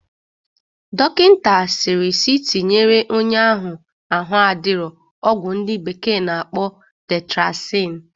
Dọkịta sịrị sị tinyere onye ahụ ahụ adirọ ọgwụ ndị bekee na-akpọ tetrasin